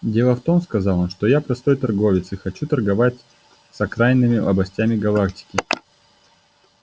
дело в том сказал он что я простой торговец и хочу торговать с окраинными областями галактики